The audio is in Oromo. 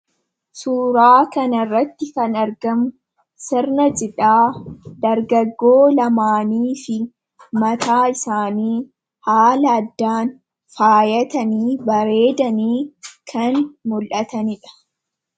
Suura kana irratti kan argamu sirna cidhaa dargaggoo lamaaniifi mataa isaanii haala addaan faayatanii bareedanii kan mul'atanidha.